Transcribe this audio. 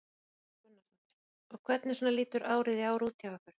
Erla Björg Gunnarsdóttir: Og hvernig svona lítur árið í ár út hjá ykkur?